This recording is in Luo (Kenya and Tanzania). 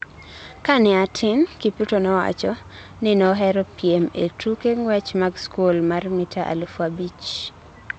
Ka ne atin, Kipruto nowacho ni nohero piem e tuke ng'wech mag skul mar mita alufu abich.